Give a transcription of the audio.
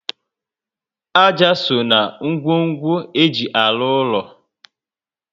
Ájá so na ngwongwo eji arụ úlọ